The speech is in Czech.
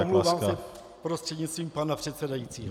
Omlouvám se, prostřednictvím pana předsedajícího.